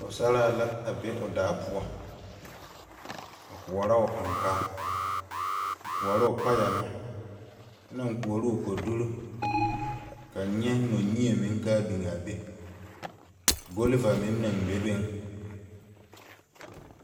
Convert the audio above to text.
Pɔgsaraa la a be ɔ daa pou a koɔro ɔ ankaa a koɔro payɛ ming kye nang koɔro ɔ koduri kan nye nokyeɛ ming kaa bing a bɛ gulva ming nang bebe.